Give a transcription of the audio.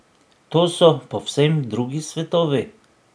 To so povsem drugi svetovi.